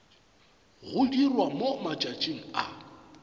go dirwa mo matšatšing a